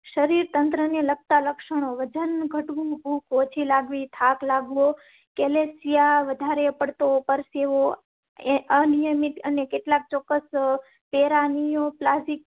શરીર તંત્રને લગ તાં લક્ષણો વજન ઘટ ભૂખ ઓછી લાગ વી થાક લાગ વો કેલેસિયા વધારે પડતો પરસેવો અનિયમિત અન્ય કેટલાક ચોક્કસ.